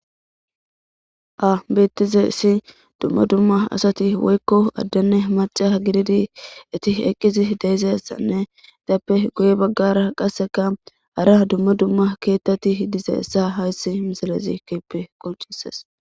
abettize issi dumma dumma asati woykko addenne maca gididi iti eqqizi deezessanne dappe goye baggara qasseka hara dumma dumma keettati hdize essa hayssi misilezi keeppe qoncises